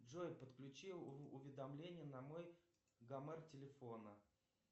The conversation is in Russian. джой подключи уведомления на мой гомер телефона